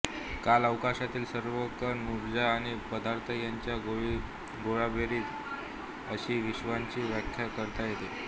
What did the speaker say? कालअवकाशातील सर्व कण ऊर्जा आणि पदार्थ यांची गोळाबेरीज अशी विश्वाची व्याख्या करता येते